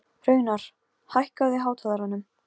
Það gera allir ungir menn sem fara á böll.